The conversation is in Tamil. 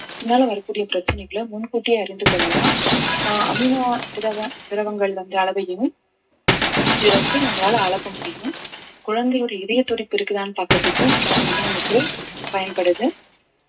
இதனால வரக்கூடிய பிரச்சனைகளை முன் கூட்டியே அறிந்து கொள்ளலாம் ஆஹ் அமினோ திரவ திரவங்கள் வந்த அளவையும் இது வந்து நம்மளால அளக்க முடியும் குழந்தையோட இதயத்துடிப்பு இருக்குதான்னு பாக்குறதுக்கு scan வந்து நமக்கு பயன்படுது